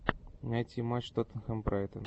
найти матч тоттенхэм брайтон